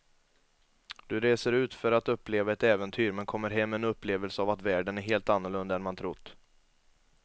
Du reser ut för att uppleva ett äventyr men kommer hem med en upplevelse av att världen är helt annorlunda än man trott.